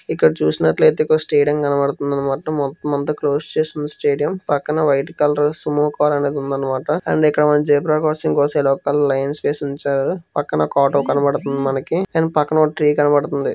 ఇక్కడ చూసినట్లయితే ఒక స్టేడియం కనపడుతుందన్నమాట. మొత్తం అంతా క్లోజ్ చేసి ఉంది స్టేడియం . పక్కన వైట్ కలర్ సుమో కార్ అనేది ఉందన్నమాట. అండ్ మనం ఇక్కడ ఒక జీబ్రా క్రాసింగ్ కోసం లైన్ వేసి ఉంచారు. పక్కన ఒక ఆటో కనపడుతుంది మనకి. అండ్ పక్కన ఒక ట్రీ కనబడుతుంది.